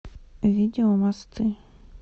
видео мосты